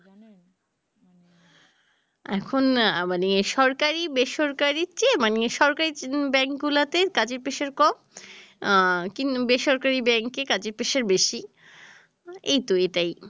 এখন মানে সরকারী বেসরকারী চেয়ে মানে সরকারী ব্যাংক গুলা তে কাজের pressure কম আহ বেসরকারী ব্যাংকে কাজের pressure বেশী এই তো এটাই